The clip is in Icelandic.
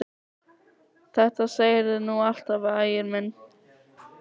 Þetta segirðu nú alltaf, Ægir minn!